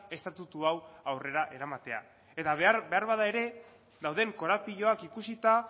estatutu hau aurrera eramatea eta behar beharbada ere dauden korapiloak ikusita